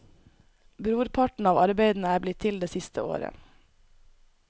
Brorparten av arbeidene er blitt til det siste året.